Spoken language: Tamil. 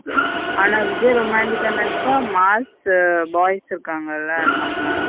ஆன விஜய் romantic ஆ நடிச்ச மாஸ் boys இருக்கங்கள நம்ம.